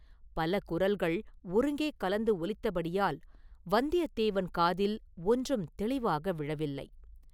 பல குரல்கள் ஒருங்கே கலந்து ஒலித்தபடியால் வந்தியத்தேவன் காதில் ஒன்றும் தெளிவாக விழவில்லை.